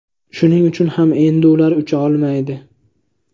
Shuning uchun ham endi ular ucha olmaydi.